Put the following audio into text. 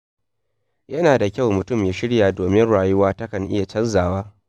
Yana da kyau mutum ya shirya domin rayuwa takan iya canzawa.